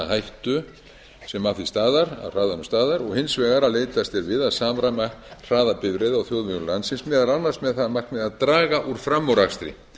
hættu sem af hraðanum stafar og hins vegar að leitast er við að samræma hraða bifreiða á þjóðvegum landsins meðal annars með það að markmiði að draga úr framúrakstri